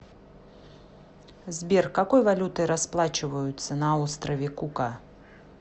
сбер какой валютой расплачиваются на острове кука